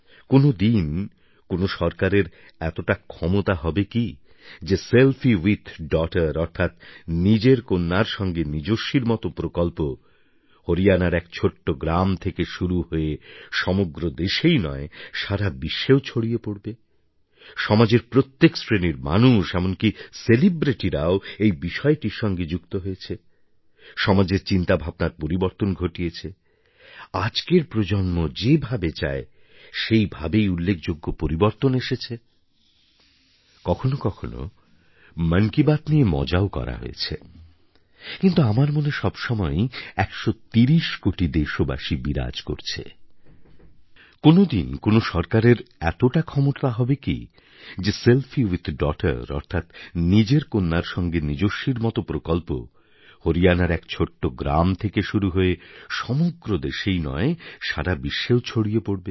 কোনোদিন কোন সরকারের এতটা ক্ষমতা হবে কি যে সেলফি উইথ ডগটার অর্থাৎ নিজের কন্যার সাথে নিজস্বীর মত প্রকল্প হরিয়ানার এক ছোট্ট গ্রাম থেকে শুরু হয়ে সমগ্র দেশেই নয় সারা বিশ্বেও ছড়িয়ে পড়বে